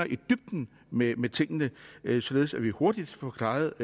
i dybden med med tingene således at vi hurtigt får klaret